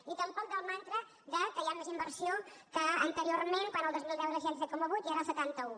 i tampoc del mantra que hi ha més inversió que anteriorment quan el dos mil deu era del seixanta set coma vuit i ara del setanta un